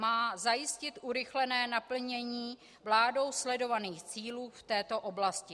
Má zajistit urychlené naplnění vládou sledovaných cílů v této oblasti.